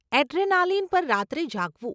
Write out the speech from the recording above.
Adrenaline પર રાત્રે જાગવું.